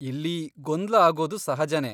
ಇಲ್ಲಿ ಗೊಂದ್ಲ ಆಗೋದು ಸಹಜನೇ.